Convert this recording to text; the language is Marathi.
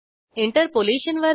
इंटरपोलेशन वर जा